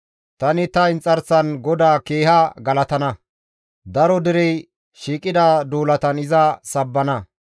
Tani ta inxarsan GODAA keeha galatana; daro derey shiiqida duulatan iza sabbana.